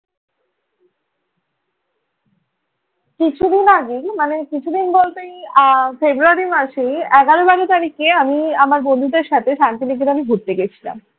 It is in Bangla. কিছুদিন আগে মানে কিছুদিন বলতে ফেব্রুয়ারি মাসেই এগারো বারো তারিখে আমি আমার বন্ধুদের সাথে শান্তি নিকেতনে আমি ঘুরতে গিয়েছিলাম।